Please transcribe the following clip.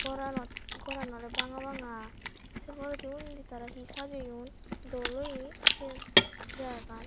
goranot goraan oley banga banga sei poredi undi tara hi sajeyon dol oye siyen eh jagagan.